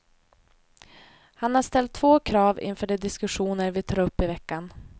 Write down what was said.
Han har ställt två krav inför de diskussioner vi tar upp i veckan.